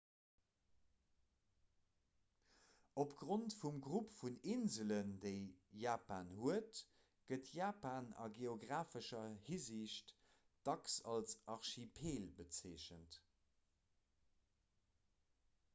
opgrond vum grupp vun inselen déi japan huet gëtt japan a geografescher hinsicht dacks als archipel bezeechent